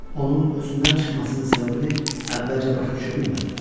Onun özündən çıxmasının səbəbini əvvəlcə başa düşə bilmədim.